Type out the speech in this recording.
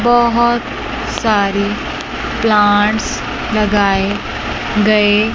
बहोत सारी प्लांट्स लगाए गए--